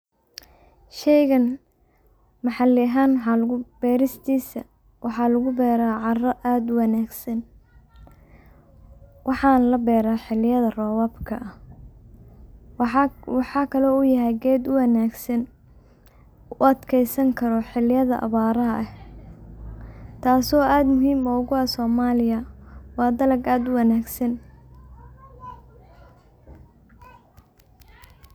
sheygan maxali ahan beristiisa waxa lugu beera caara aad uwanaagsan, waxaa la beera xiliyada robobka, waxa kale uu yahay ged uwanaagsan u adkeysan kaaro xilida awaraha eh taaso aad muhim ogu ah somaliya waa dalag aad uwanaagsan